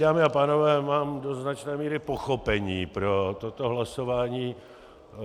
Dámy a pánové, mám do značné míry pochopení pro toto hlasování.